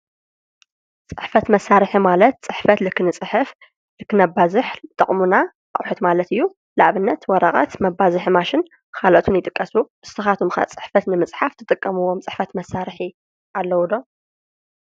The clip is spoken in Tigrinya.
ፅሕፈት መሳርሒ ማለት ፅሕፈት ንክንፅሕፍ ንክነባዝሕ ዝጠቕሙና አቑሑት ማለት እዩ ንአብነት ወረቀት መባዝሒ ማሽን ካልኦትን ይጥቀሱ ንስኻትኩምከ ፅሕፈት ንምፅሓፍ ትጥቀምዎም ፅሕፈት መሳርሒ አለው ዶ ?